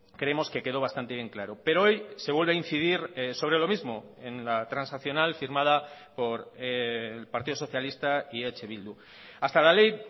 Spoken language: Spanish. creemos que quedó bastante bien claro pero hoy se vuelve a incidir sobre lo mismo en la transaccional firmada por el partido socialista y eh bildu hasta la ley